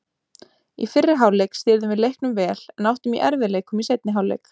Í fyrri hálfleik stýrðum við leiknum vel en áttum í erfiðleikum í seinni hálfleik.